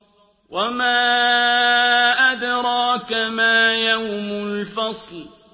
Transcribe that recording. وَمَا أَدْرَاكَ مَا يَوْمُ الْفَصْلِ